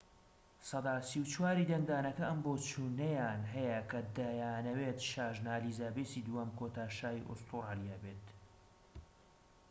سەدا ٣٤ ی دەنگدانەکە ئەم بۆچوونەیان هەیە کە دەیانەوێت شاژنە ئەلیزابێسی دووهەم کۆتا شا ی ئوستورالیا بێت